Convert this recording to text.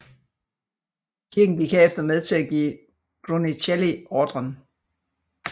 Kirken gik herefter med til at give Brunelleschi ordren